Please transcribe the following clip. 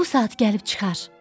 Bu saat gəlib çıxar.